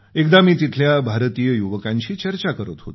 एकदा मी तिथल्या भारतीय युवकांशी चर्चा करत होतो